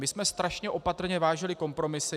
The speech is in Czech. My jsme strašně opatrně vážili kompromisy.